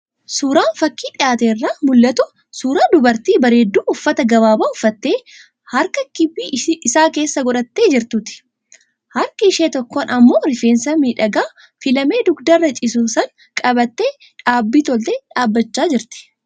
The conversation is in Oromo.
Suuraan fakii dhiyaate irraa mul'atu suuraa dubartii bareedduu uffata gabaabaa uffattee, harka giphii isaa keessa godhattee jirtuuti. Harka ishee tokkoon ammoo rifeensa miidhagaa filamee dugdarra ciisu san qabattee dhaabbii toltee dhaabachaa jirti.